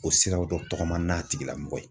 O siraw dɔ tɔgɔma n'a tigilamɔgɔ ye.